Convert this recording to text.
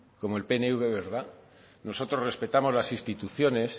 como el pnv verdad nosotros respetamos las instituciones